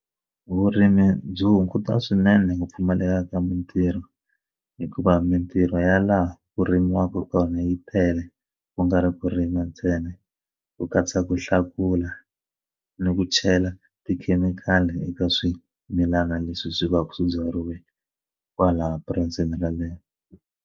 Vurimi byi hunguta swinene ku pfumaleka ka mintirho hikuva mintirho ya laha ku rimiwaka kona yi tele ku nga ri ku rima ntsena ku katsa ku hlakula ni ku chela tikhemikhali eka swimilana leswi swi vaka swi byariweke kwalaya purasini yeleyo.